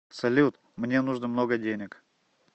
салют мне нужно много денег